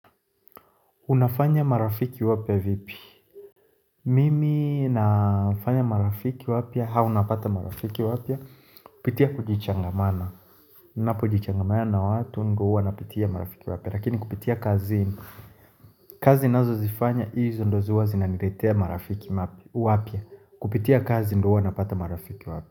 Unafanya marafiki wapya vipi? Mimi nafanya marafiki wapya, au napata marafiki wapya, kupitia kujichangamana. Ninapo jichangamana na watu, ndio uwa napitia marafiki wapya. Lakini kupitia kazi, kazi ninazozifanya, hizo ndio ziwazinaniletea marafiki wapya. Kupitia kazi ndo uwa napata marafiki wapya.